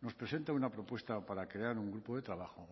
nos presenta una propuesta para crear un grupo de trabajo